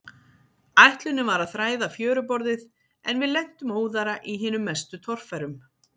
Ætlunin var að þræða fjöruborðið, en við lentum óðara í hinum mestu torfærum.